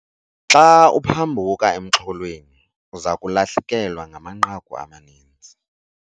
Xa uphambuka emxholweni uza kulahlekelwa ngamanqaku amaninzi.